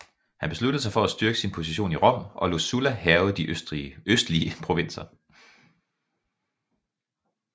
Han besluttede sig for at styrke sin position i Rom og lod Sulla hærge de østlige provinser